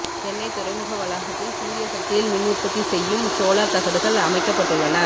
சென்னை துறைமுக வளாகத்தில் சூரிய சக்தியில் மின் உற்பத்தி செய்யும் சோலார் தகடுகள் அமைக்கப்பட்டுள்ளன